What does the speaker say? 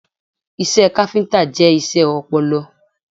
Iṣẹ́ káfíntà jẹ́ iṣẹ́ ọpọlọ.